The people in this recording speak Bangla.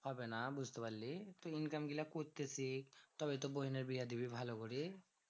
হবে না। বুঝতে পারলি? income গুলা করতে শিখ। তবে তো বহিনের বিয়া দিবি ভালো করে।